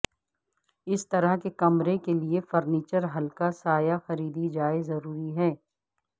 اس طرح کے کمرے کے لئے فرنیچر ہلکا سایہ خریدی جائے ضروری ہے